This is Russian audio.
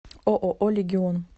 ооо легион